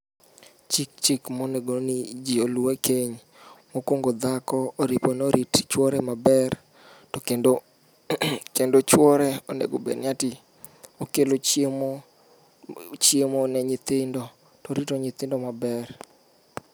Chik monego ni ji olu ekeny- mokuongo dhako orepo ni orit chuore maber, to kendo chuore onego obed ni ati okelo chiemo chiemo ne nyithindo to orito nyithindo maber.